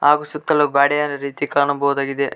ಹಾಗು ಸುತ್ತಲು ಗ್ವಾಡೆಯಾದ ರೀತಿ ಕಾಣಬಹುದಾಗಿದೆ.